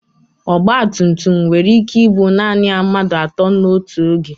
ọgba tum tum nwere ike ibu naanị mmadụ atọ n'otu oge